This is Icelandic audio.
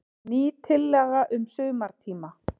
Ný tillaga um sumartíma.